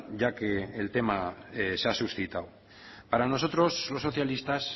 ya que el tema se ha suscitado para nosotros los socialistas